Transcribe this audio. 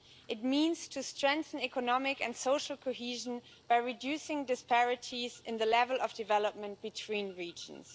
It means to strengthen economic and social cohesion by reducing disparities in the level of development between regions.